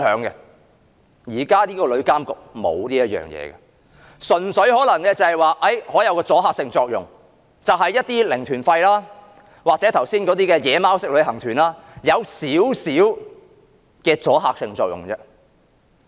日後旅監局的職能無法處理這些問題，可能只是對那些"零團費"或剛才所說的"野馬"旅行團，有少許阻嚇作用。